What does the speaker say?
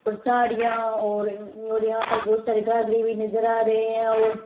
और साड़ियाँ और यहाँ पर बहुत सारे घाघरे भी नज़र आरे है और।